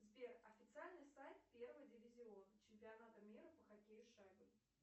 сбер официальный сайт первый дивизион чемпионата мира по хоккею с шайбой